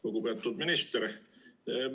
Lugupeetud minister!